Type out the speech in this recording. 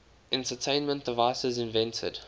entertainment devices invented